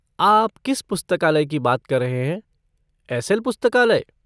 आप किस पुस्तकालय की बात कर रहे हैं, एस.एल. पुस्तकालय?